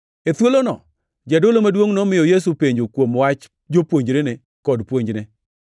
E thuolono jadolo maduongʼ nomiyo Yesu penjo kuom wach jopuonjrene kod puonjne.